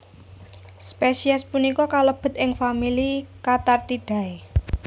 Spesies punika kalebet ing famili Cathartidae